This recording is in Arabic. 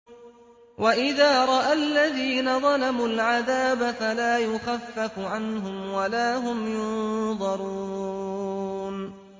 وَإِذَا رَأَى الَّذِينَ ظَلَمُوا الْعَذَابَ فَلَا يُخَفَّفُ عَنْهُمْ وَلَا هُمْ يُنظَرُونَ